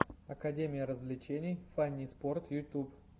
академия развлечений фанниспорт фанниспорт ютуб